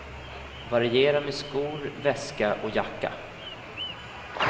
Variera med skor, väska och jacka.